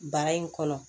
Bara in kɔnɔ